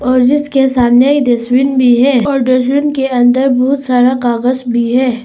और जिसके सामने ही डस्टबिन भी है और डस्टबिन के अंदर बहुत सारा कागज भी है।